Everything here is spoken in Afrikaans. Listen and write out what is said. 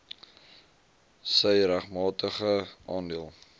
sy regmatige aandeel